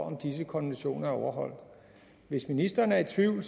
at disse konventioner er overholdt hvis ministeren er i tvivl